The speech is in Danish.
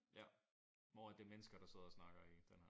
Ja hvor at det mennesker der sidder og snakker i den her